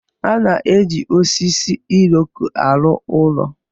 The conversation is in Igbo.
A na-eji osisi Iroko arụ ụlọ.